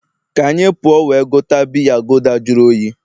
ka anyị puo we gote biya gulder jụrụ oyi